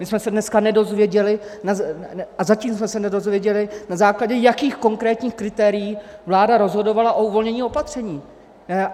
My jsme se dneska nedozvěděli a zatím jsme se nedozvěděli, na základě jakých konkrétních kritérií vláda rozhodovala o uvolnění opatření.